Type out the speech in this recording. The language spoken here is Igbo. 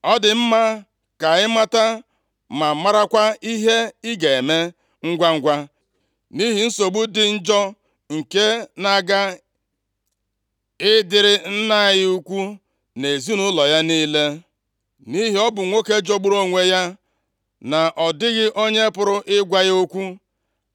Ọ dị mma ka ị mata ma marakwa ihe ị ga-eme ngwangwa; nʼihi nsogbu dị njọ nke na-aga ịdịrị nna anyị ukwu na ezinaụlọ ya niile. Nʼihi ọ bụ nwoke jọgburu onwe ya, na ọ dịghị onye pụrụ ịgwa ya okwu.”